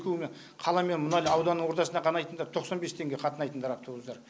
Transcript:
екеуіне қала мен мұнайлы ауданы ортасына қанайтындар тоқсан бес теңге қатынайтындар автобустар